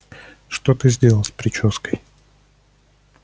что ты сделал с причёской